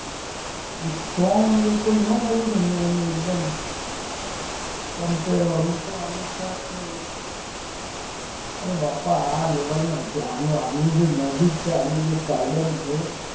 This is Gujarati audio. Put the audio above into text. સ્ટ્રોંગ અગર નો મળું ને એનું એનું એકદમ કંપેર વાળું એ તો આમિતશાહ છે જ અરે બાપા આ લેવલ ના નથી આમનું જે મેજીક છે આમનું જે છે